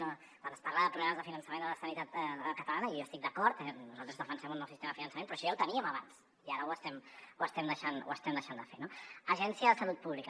no quan es parla de problemes de finançament de la sanitat catalana i jo hi estic d’acord nosaltres defensem un nou sistema de finançament però això ja ho teníem abans i ara ho estem ho estem deixant de fer no agència de salut pública